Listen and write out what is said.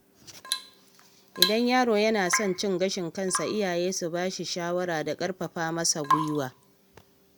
Idan yaro yana son cin gashin kansa, iyaye su bashi shawara da ƙarfafa masa gwiwa.